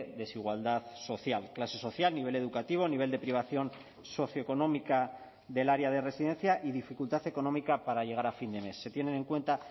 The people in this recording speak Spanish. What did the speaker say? desigualdad social clase social nivel educativo nivel de privación socioeconómica del área de residencia y dificultad económica para llegar a fin de mes se tienen en cuenta